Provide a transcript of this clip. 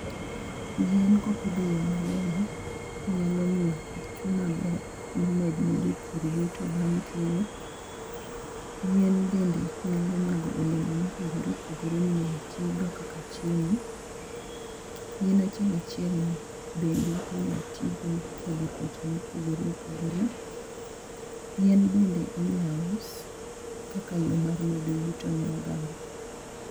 Yien kopidh eyo malong'o nyalo miyo koth chwe maber. Ma med ne jopur yuto bang' keyo. Yien bende nyalo nyago olemo mopogore opogore minyalo ti go kaka chiemo. Yien achiel achiel ni be inyao tigo e thiedho tuoche ma opogore opogore. Yien bende inyalo us kaka yo mar medo yuto ne oganda.